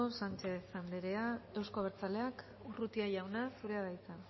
sánchez anderea euzko abertzaleak urrutia jauna zurea da hitza